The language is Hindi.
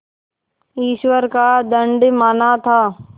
ईश्वर का दंड माना था